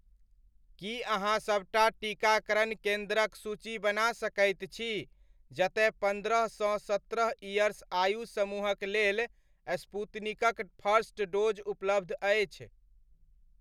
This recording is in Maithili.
की अहाँ सबटा टीकाकरण केन्द्रक सूची बना सकैत छी जतयपन्द्रह सँ सत्रह इयर्स आयु समूहक लेल स्पूतनिकक फर्स्ट डोज़ उपलब्ध अछि ?